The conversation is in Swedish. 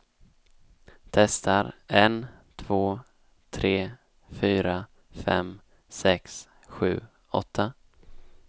Testar en två tre fyra fem sex sju åtta.